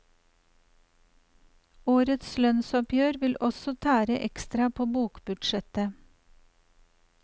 Årets lønnsoppgjør vil også tære ekstra på bokbudsjettet.